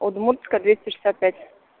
удмуртская двести шестьдесят пять